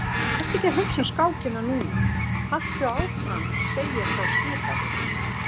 Vertu ekki að hugsa um skákina núna, haltu áfram að segja frá skipaði